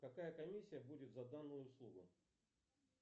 какая комиссия будет за данную услугу